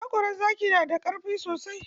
Haƙoran zaki na da kaifi sosai.